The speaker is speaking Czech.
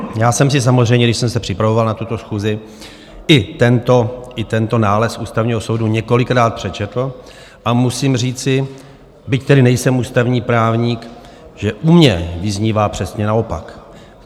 Já jsem si samozřejmě, když jsem se připravoval na tuto schůzi, i tento nález Ústavního soudu několikrát přečetl a musím říci, byť tedy nejsem ústavní právník, že u mě vyznívá přesně naopak.